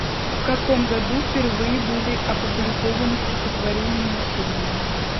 в каком году впервые были опубликованы стихотворения есенина